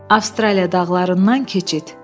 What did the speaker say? Avstraliya dağlarından keçid.